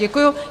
Děkuji.